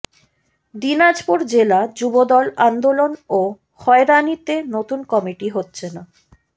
দিনাজপুর জেলা যুবদল আন্দোলন ও হয়রানিতে নতুন কমিটি হচ্ছে না